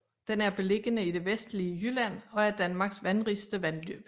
Den er beliggende i det vestlige Jylland og er Danmarks vandrigeste vandløb